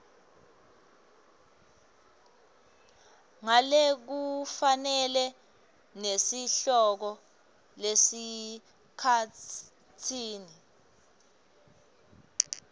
ngalokufanele nesihloko esikhatsini